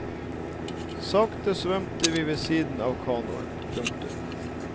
Sakte svømte vi ved siden av kanoen. punktum